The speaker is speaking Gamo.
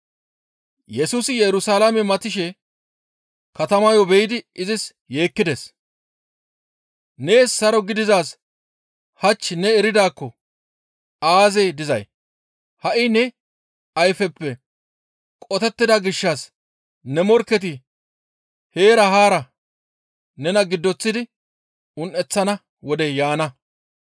Yesusi Yerusalaame matishe katamayo be7idi izis yeekkides. «Nees saro gidizaaz hach ne eridaakko aazee dizay? Ha7i ne ayfeppe qotettida gishshas ne morkketi heera haara nena giddoththidi un7eththana wodey yaana.